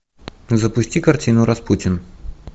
запусти картину распутин